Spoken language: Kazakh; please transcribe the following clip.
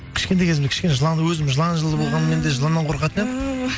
кішкентай кезімде кішкене жыланды өзім жылан жылы болғанменде жыланнан қорқатын едім ііі